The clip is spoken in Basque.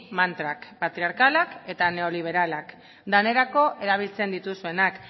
mantrak patriarkalak eta neoliberalak denerako erabiltzen dituzuenak